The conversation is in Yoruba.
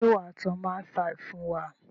Ṣé wà á tán máìfaì fún wa?